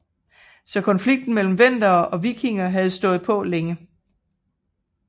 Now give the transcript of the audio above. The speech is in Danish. Så konflikten mellem vendere og vikinger havde stået på længe